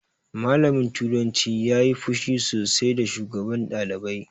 Malamin turanci ya yi fushi sosai da shugaban ɗalibai